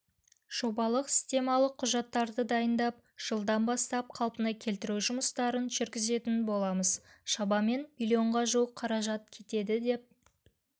жобалық-сметалық құжаттарды дайындап жылдан бастап қалпына келтіру жұмыстарын жүргізетін боламыз шамамен миллионға жуық қаражат кетеді деп